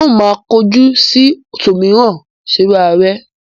N ó máa korò ojú sí ṣòmìrán-ṣerààrá.